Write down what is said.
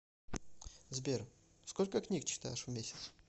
сбер сколько книг читаешь в месяц